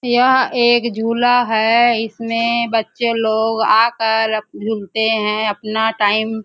यहाँ एक झूला है इसमें बच्चे लोग आकर झूलते है अपना टाइम --